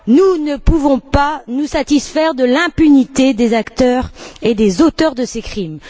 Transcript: Nous ne pouvons pas nous satisfaire de l'impunité des acteurs et des auteurs de ces crimes.